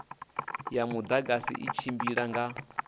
ya mudagasi i tshimbila nga